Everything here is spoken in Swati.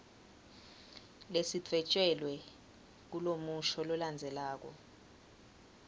lesidvwetjelwe kulomusho lolandzelako